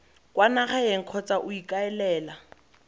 kwa nageng kgotsa o ikaelela